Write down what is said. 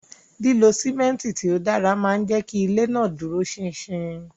Lilo simenti ti o dara maa n jẹ ki ile naa duro sin-sin